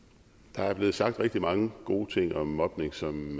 der er blevet sagt rigtig mange gode ting om mobning som